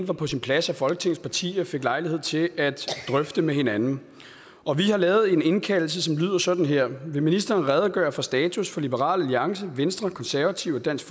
var på sin plads at folketingets partier fik lejlighed til at drøfte med hinanden og vi har lavet en indkaldelse som lyder sådan her vil ministeren redegøre for status for liberal alliance venstre konservative og dansk